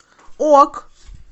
ок